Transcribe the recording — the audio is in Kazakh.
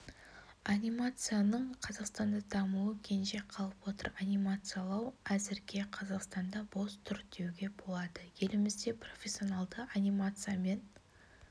анимацияның қазақстанда дамуы кенже қалып отыр анимациялау әзірге қазақстанда бос тұр деуге болады елімізде профессионалды анимациямен